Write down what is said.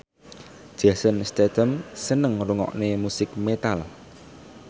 Jason Statham seneng ngrungokne musik metal